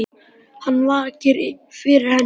Hvað vakir fyrir henni?